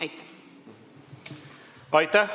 Aitäh!